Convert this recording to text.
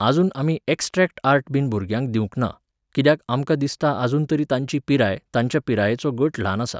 आजून आमी extract art बीन भुरग्यांक दिवंक ना, कित्याक आमकां दिसता आजून तरी तांची पिराय, तांचे पिरायेचो गट ल्हान आसा